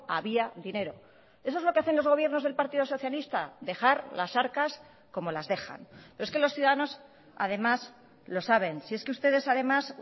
había dinero eso es lo que hacen los gobiernos del partido socialista dejar las arcas como las dejan pero es que los ciudadanos además lo saben si es que ustedes además